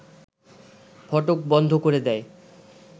ফটক বন্ধ করে দেয়